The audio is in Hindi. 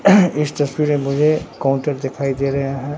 इस तस्वीर में मुझे काउंटर दिखाई दे रेया हैं।